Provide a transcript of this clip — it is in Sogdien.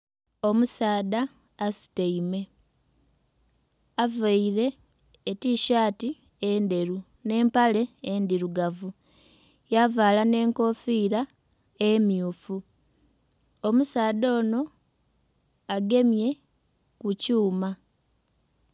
Omusaadha asutaime avaire etishaati endheru nh'empale endhirugavu yavaala nh'enkofiira emmyufu. Omusaadha onho agemye ku kyuma.